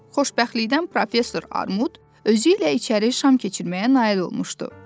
Xoşbəxtlikdən professor Armud özü ilə içəri şam keçirməyə nail olmuşdu.